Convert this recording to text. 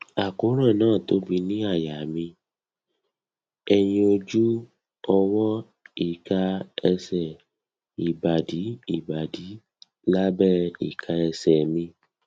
àkóràn náà tóbi ní àyà mi ẹyìn ojú ọwọ ika ẹsẹ ìbàdí ìbàdí lábẹ ìka ẹsẹ mi